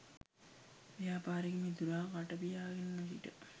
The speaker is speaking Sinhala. ව්‍යාපාරික මිතුරා කට පියාගෙන නොසිට